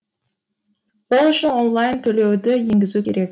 ол үшін онлайн төлеуді енгізу керек